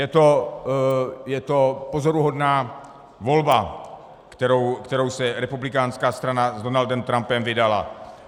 Je to pozoruhodná volba, kterou se republikánská strana s Donaldem Trumpem vydala.